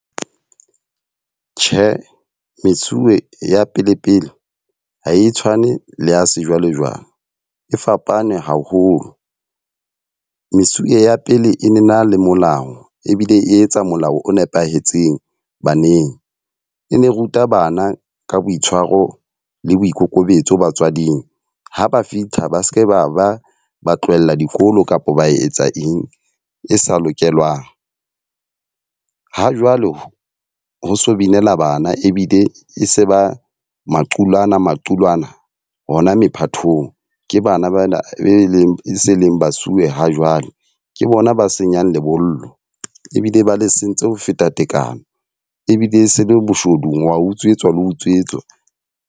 Tjhe, mesuwe ya pele pele ha e tshwane le ya sejwalejwale. E fapane haholo. Mesuwe ya pele e na le molao ebile e etsa molao o nepahetseng baneng. E ne ruta bana ka boitshwaro le boikokobetso batswading. Ha ba fitlha, ba seke ba ba ba tlohella dikolo kapa ba etsa eng e sa lokelwang ho jwalo ho so binela bana. Ebile e se ba maqulwana maqulwana hona mephatong ke bana bana e leng e se leng basuwe ha jwale. Ke bona ba senyang lebollo. Ebile ba le sentse ho feta tekano ebile se le boshodung, wa utswetswa le utswetsa.